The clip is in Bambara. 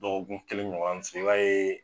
Dɔgɔkun kelen ɲɔgɔn min filɛ i b'a yee